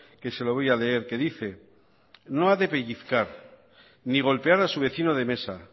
que se lo voy a leer que dice no ha de pellizcar ni golpear a su vecino de mesa